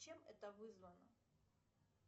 чем это вызвано